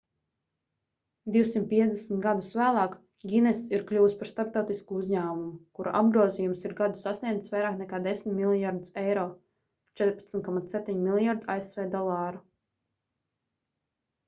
250 gadus vēlāk guinness ir kļuvis par starptautisku uzņēmumu kura apgrozījums ik gadu sasniedz vairāk nekā 10 miljardus euro 14,7 mljrd. asv dolāru